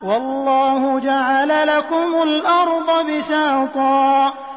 وَاللَّهُ جَعَلَ لَكُمُ الْأَرْضَ بِسَاطًا